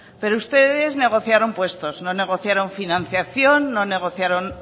pero ustedes negociaron puestos no negociaron financiación no negociaron